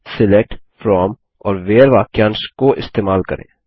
select from और where वाक्यांश को इस्तेमाल करें